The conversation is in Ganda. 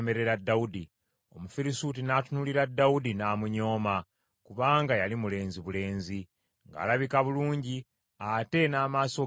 Omufirisuuti n’atunuulira Dawudi n’amunyooma kubanga yali mulenzi bulenzi, ng’alabika bulungi ate n’amaaso ge nga malungi.